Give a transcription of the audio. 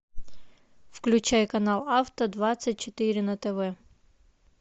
включай канал авто двадцать четыре на тв